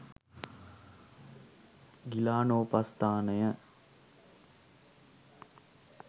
ගිලානෝපස්ථානය